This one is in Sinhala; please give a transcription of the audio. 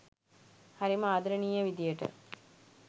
හරිම ආදරණීය විදිහට